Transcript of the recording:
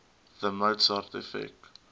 the mozart effect